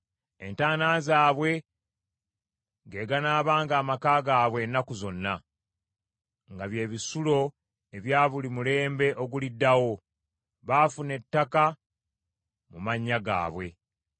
Entaana zaabwe ge ganaabanga amaka gaabwe ennaku zonna; nga bye bisulo ebya buli mulembe oguliddawo; baafuna ettaka mu mannya gaabwe.